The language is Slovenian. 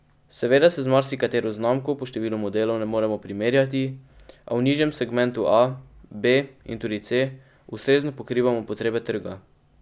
Seveda se z marsikatero znamko po številu modelov ne moremo primerjati, a v nižjem segmentu A, B in tudi C ustrezno pokrivamo potrebe trga.